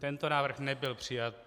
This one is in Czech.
Tento návrh nebyl přijat.